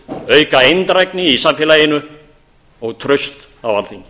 auka eindrægni í samfélaginu og traust á alþingi